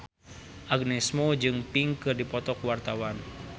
Agnes Mo jeung Pink keur dipoto ku wartawan